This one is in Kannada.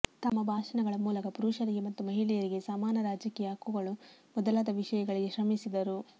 ತಮ್ಮ ಭಾಷಣಗಳ ಮೂಲಕ ಪುರುಷರಿಗೆ ಮತ್ತು ಮಹಿಳೆಯರಿಗೆ ಸಮಾನ ರಾಜಕೀಯ ಹಕ್ಕುಗಳು ಮೊದಲಾದ ವಿಷಯಗಳಿಗೆ ಶ್ರಮಿಸಿದರು